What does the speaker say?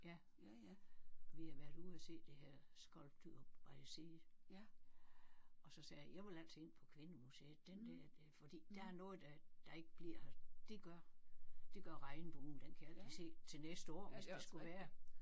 Ja ja ja vi har været ude at se det her Sculpture by Sea og så sagde jeg jeg vil altså ind på Kvindemuseet den der fordi der er noget der der ikke bliver det gør det gør regnbuen den kan jeg altid se til næste år hvis det skulle være